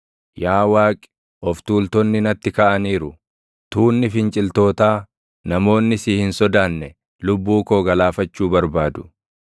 Yaa Waaqi, of tuultonni natti kaʼaniiru; tuunni finciltootaa, namoonni si hin sodaanne lubbuu koo galaafachuu barbaadu.